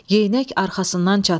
Yeyinək arxasından çatdı.